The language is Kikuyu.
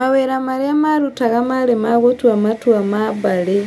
Mawĩra marĩa marutaga marĩ ma gũtua matua ma mbarĩ